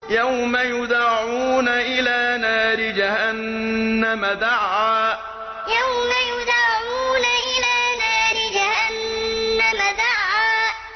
يَوْمَ يُدَعُّونَ إِلَىٰ نَارِ جَهَنَّمَ دَعًّا يَوْمَ يُدَعُّونَ إِلَىٰ نَارِ جَهَنَّمَ دَعًّا